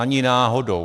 Ani náhodou.